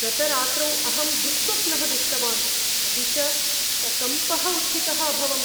गतरात्रौ अहं दुःस्वप्नं दृष्टवान्, अपि च सकम्पः उत्थितः अभवम्।